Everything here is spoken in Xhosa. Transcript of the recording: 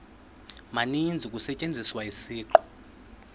maninzi kusetyenziswa isiqu